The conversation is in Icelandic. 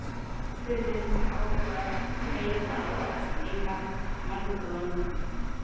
spurði hún með áhuga, leiða og ertni í málrómnum.